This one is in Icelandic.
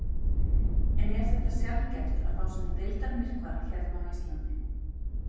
En er þetta sjaldgæft að fá svona deildarmyrkva hérna á Íslandi?